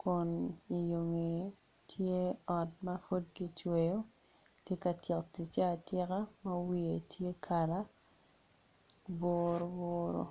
kun iyo ngeye tye ot ma pud kicweyo kitye ka tyeko ticce atyeka ma wiye tye kala buruburu.